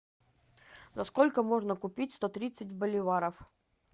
за сколько можно купить сто тридцать боливаров